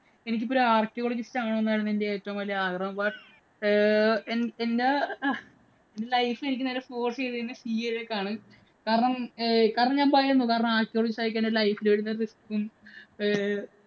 എനിക്ക് ഇപ്പം ഒരു archaeologist ആകണമെന്നായിരുന്നു എന്റെ ഏറ്റവും വലിയ ആഗ്രഹം. But ഏർ എന്‍റെ അഹ് life എനിക്ക് നേരെ force ചെയ്തത് CA ഇലേക്കാണ്. കാരണം, കാരണം ഞാന്‍ പറഞ്ഞു archaeologist ആയിക്കഴിഞ്ഞാൽ life ൽ വരുന്ന risk ഉം ഏർ